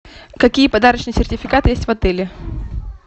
какие подарочные сертификаты есть в отеле